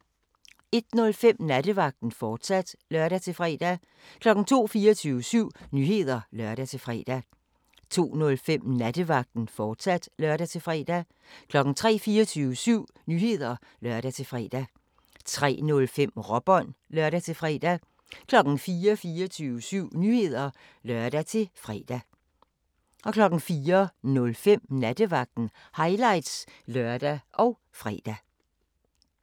01:05: Nattevagten, fortsat (lør-fre) 02:00: 24syv Nyheder (lør-fre) 02:05: Nattevagten, fortsat (lør-fre) 03:00: 24syv Nyheder (lør-fre) 03:05: Råbånd (lør-fre) 04:00: 24syv Nyheder (lør-fre) 04:05: Nattevagten – highlights (lør og fre)